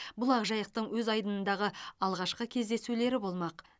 бұл ақжайықтың өз айдынындағы алғашқы кездесулері болмақ